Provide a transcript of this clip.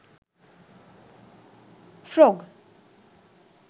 frog